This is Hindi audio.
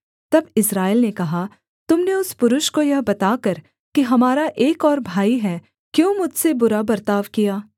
तब इस्राएल ने कहा तुम ने उस पुरुष को यह बताकर कि हमारा एक और भाई है क्यों मुझसे बुरा बर्ताव किया